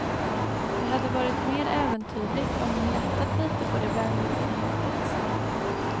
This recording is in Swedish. Det hade varit mer äventyrligt om hon lättat lite på det välgjutna locket.